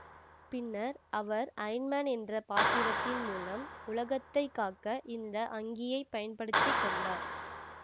பின்னர் அவர் Iron Man என்ற பாத்திரத்தின் மூலம் உலகத்தை காக்க இந்த அங்கியைப் பயன்படுத்தி கொண்டார்